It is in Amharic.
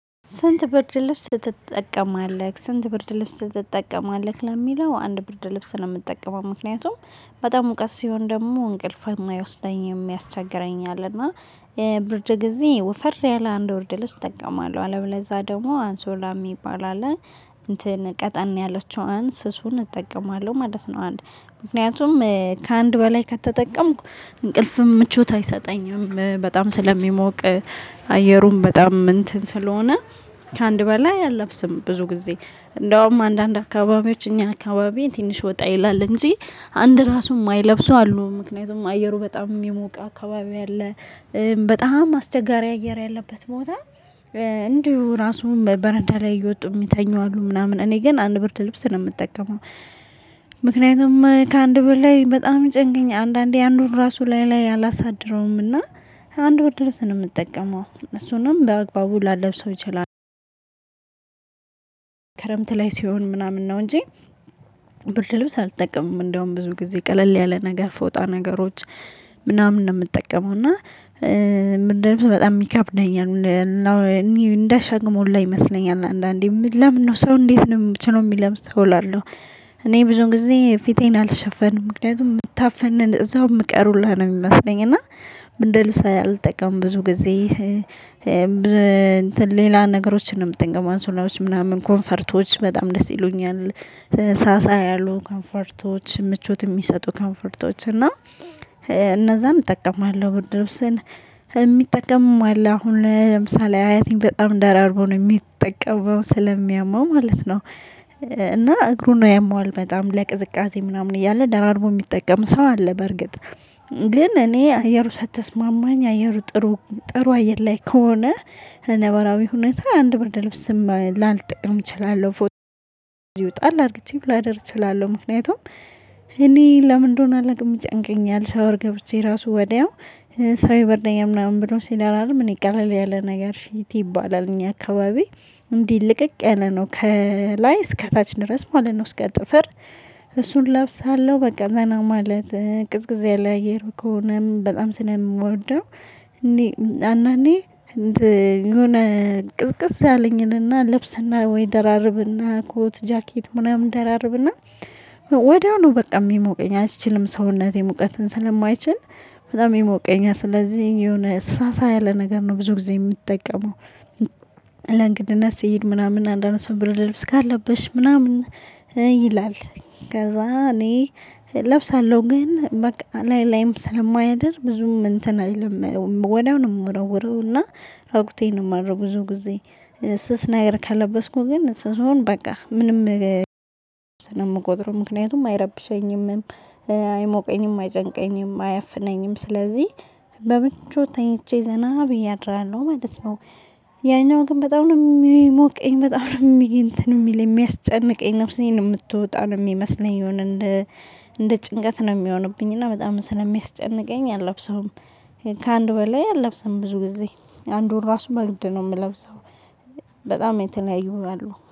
ስንት ብርድ ልብስ ትጠቀማለህ? ስንት ብርድ ልብስ ትጠቀማለህ ለሚለው አንድ ብርድ ልብስ ነው የምትጠቀመው ምክንያቱም። በጣም ሙቀት ሲሆን ደግሞ እንቅልፍ የማይወስደኝ የሚያስቸግረኝ አለና ብርድ ጊዜ ወፈር ያለ አንድ ብርድ ልብስ እጠቀማለሁ አለም ለዛ ደግሞ አንሶላ የሚባል አለ። እንትን ቀጠን ያለችው አንስሱን እጠቀማለሁ ማለት ነው። አንድ ምክንያቱም ከአንድ በላይ ከተጠቀምኩ። እንቅልፍም ምቾት አይሰጠኝም በጣም ስለሚሞቅ። አየሩም በጣም እንትን ስለሆነ። ከአንድ በላይ አልለብስም ብዙ ጊዜ እንደውም አንዳንድ አካባቢዎች እኛ አካባቢ ትንሽ ወጣ ይላል እንጂ። አንድ ራሱ የማይለብሰው አሉ ምክንያቱም አየሩ በጣም የሞቀ አካባቢ ያለ። በጣም አስቸጋሪ አየር ያለበት ቦታ። እንዲሁ ራሱን በበረዳ ላይ እየወጡ የሚተኙ አሉ ምናምን እኔ ግን አንድ ብርት ልብስ ነው የምጠቀመው። ምክንያቱም ከአንድ ብርድ ላይ በጣም ጭንቅኝ አንዳንዴ አንዱን ራሱ ላይ ላይ አላሳደረውምና። አንድ ብርድ ልብስ ነው የምጠቀመው እሱንም በአግባቡ ላለብሰው ይችላል። ክረምት ላይ ሲሆን ምናምን ነው እንጂ። ብርድ ልብስ አልጠቅምም እንደውም ብዙ ጊዜ ቀለል ያለ ነገር ፈወጣ ነገሮች። ምናምን ነው የምጠቀመው እና። ምንድነው በጣም ሚካፕ ነኝ? እንደ ሸግሞ ላይ ይመስለኛል አንዳንዴ ለምን ነው ሰው እንዴት ነው ብቻ ነው የሚለምስ እላለሁ። እኔ ብዙ ጊዜ ፊቴን አልሸፈንም ምክንያቱም የምታፈንን እዛው የምቀርቡልህ ነው የሚመስለኝ እና። እንደ ልብስ አልጠቀምም ብዙ ጊዜ እንትን ሌላ ነገሮችንም እጠቀማለሁ አንሶላዎች ምናምን ኮምፈርቶች በጣም ደስ ይሉኛል። ሳሳ ያሉ ኮምፈርቶች ምቾት የሚሰጡ ኮምፈርቶች እና። እነዛን እጠቀማለሁ ብርድ። የሚጠቀምም አለ አሁን ለምሳሌ አያቴን በጣም ደራርቦ ነው የሚጠቀመው ስለሚያመው ማለት ነው። እና እግሩን ነው ያመዋል በጣም ለቅዝቃዜ ምናምን እያለ ደራርቦ የሚጠቀም ሰው አለ። በርግጥ ግን እኔ አየር ሳትስማማኝ አየሩ ጥሩ ጥሩ አየር ላይ ከሆነ። ነባራዊ ሁኔታ አንድ ብርድ ልብስም ላልጠቀም እችላለሁ ፎቶ። ይወጣል አድርጌ ብላ አደርግ እችላለሁ ምክንያቱም። እኔ ለምን ለምንድነው አለቅ የምጨንቀኛል ሻወር ገብቼ ራሱ ወዲያው። ሰው የበረኛ ምናምን ብሎ ሲል አላልም እኔ ይቀላል ያለ ነገር ሽቲ ይባላል እኛ አካባቢ። እንዲ ልቅቅ ያለ ነው ከላይ እስከታች ድረስ ማለት ነው እስከ ጥፍር። እሱን እለብሳለሁ በቃ እዛ ማለት ቅዝቅዜ አለ አየር ከሆነም በጣም ስለምወደው። እኔ አንዳንዴ የሆነ ቅዝቅዝ ያለኝንና ልብስና ወይ ደራርብና ኮት ጃኬት ምናምን ደራርብና። ወዲያው ነው በቃ የሚሞቀኝ አይችልም ሰውነቴ ሙቀትን ስለማይችል። በጣም የሚሞቀኝ ስለዚህ የሆነ ሰሳ ያለ ነገር ነው ብዙ ጊዜ የምትጠቀመው። እና እንደገና ስሄድ ምናምን አንዳንድ ሰው ብርድ ልብስ ካለብሽ ምናምን ይላል። ከዛ እኔ እለብሳለሁ ግን በቃ ላይ ላይም ስለማያደር ብዙም እንትን አይልም ወዲያውኑ የምረውረው እና። ራቁቴን የማደረው ብዙ ጊዜ። ስስ ነገር ከለበስኩ ግን እሱን በቃ ምንም። ስለምቆጥረው ምክንያቱም አይረብሸኝም። አይሞቀኝም አይጨንቀኝም አያፍነኝም ስለዚህ በምንጩ ተኝቼ ዘና ብዬ አድራለሁ ማለት ነው። ያኛው ግን በጣም ነው የሚሞቀኝ በጣም ነው የሚሞ ቀኝ እንትን የሚል የሚያስጨንቀኝ ነፍሴን የምትወጣው ነው የሚመስለኝ የሆነ እንደ እንደ ጭንቀት ነው የሚሆንብኝ እና በጣም ስለሚያስጨንቀኝ አልለብሰውም። ከአንድ ወር ላይ አልለብሰውም ብዙ ጊዜ አንዱን ራሱ በግድ ነው የምለብሰው። በጣም የተለያዩ ነው ያለው